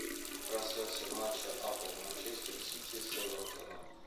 трансляция матча апл манчестер сити с эвертоном